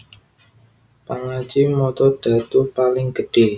Pangaji mata dhadhu paling gedhé